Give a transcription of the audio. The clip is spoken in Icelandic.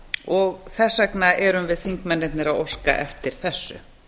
og þess vegna erum við þingmennirnir að óska eftir þessu